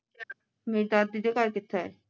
ਮੇਰੀ ਦਾਦੀ ਦੇ ਘਰ ਕਿਥੇ